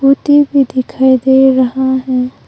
भी दिखाई दे रहा है।